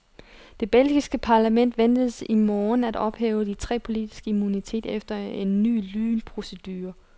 Det belgiske parlament ventes i morgen at ophæve de tre politikeres immunitet efter en ny lynprocedure.